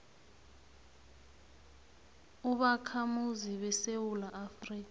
ubakhamuzi besewula afrika